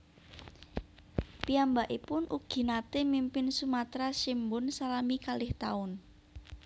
Piyambakipun ugi naté mimpin Sumatra Shimbun salami kalih taun